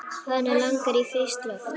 Hana langar í frískt loft.